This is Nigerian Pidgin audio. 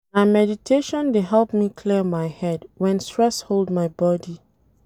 Na meditation dey help me clear my head wen stress hold my body.